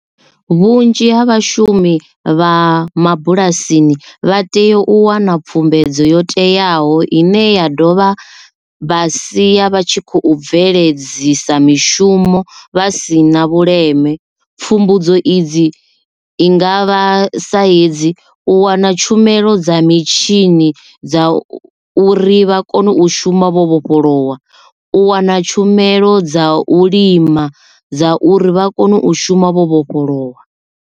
Vhunzhi ha vhashumi vha mabulasini vha tea u wana pfhumbedzo yo teaho ine ya dovha vha sia vha tshi khou bveledzisa mishumo vha si na vhuleme pfhumbudzo idzi i nga vha sa hedzi u wana tshumelo dza mitshini dza u uri vha kone u shuma vho vhofholowa, u wana tshumelo dza u lima dza uri vha kone u shuma vho vhofholowa.